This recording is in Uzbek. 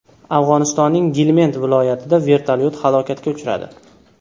Afg‘onistonning Gilmend viloyatida vertolyot halokatga uchradi.